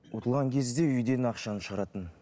ұтылған кезде үйден ақшаны шығаратынмын